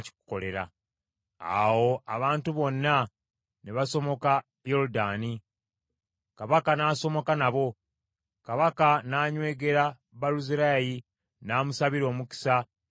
Awo abantu bonna ne basomoka Yoludaani, kabaka n’asomoka nabo. Kabaka n’anywegera Baluzirayi n’amusabira omukisa, n’addayo ewuwe.